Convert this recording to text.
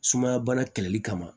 Sumaya bana kɛlɛli kama